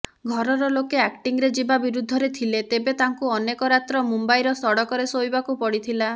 ଘରରଲୋକେ ଆକ୍ଟିଙ୍ଗରେ ଯିବା ବିରୁଦ୍ଧରେ ଥିଲେ ତେବେ ତାଙ୍କୁ ଅନେକ ରାତ୍ର ମୁମ୍ବାଇର ସଡ଼କରେ ଶୋଇବାକୁ ପଡ଼ିଥିଲା